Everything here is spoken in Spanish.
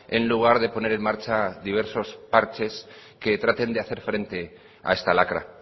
en lugar de poner en marcha diversos parches que traten de hacer frente a esta lacra